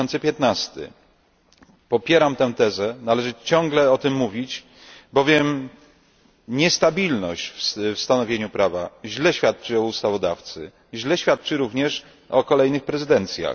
2015. Popieram tę tezę, należy ciągle o tym mówić, bowiem niestabilność w stanowieniu prawa źle świadczy o ustawodawcy, źle świadczy również o kolejnych prezydencjach.